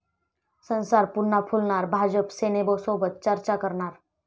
संसार पुन्हा फुलणार, भाजप सेनेसोबत चर्चा करणार!